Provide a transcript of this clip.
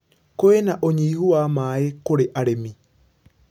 Kwĩna ũnyihu wa maĩ kũrĩ arĩmi.